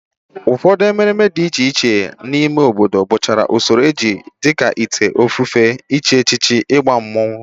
Ụfọdụ emeremere dị iche iche a na-eme n'obodo bụcha usoro ejije dịka ite ofufe, ịchị echichi, ịgba mmọnwụ